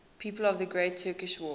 people of the great turkish war